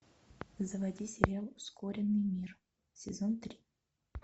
заводи сериал ускоренный мир сезон три